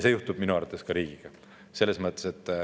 See juhtub minu arvates ka riigiga.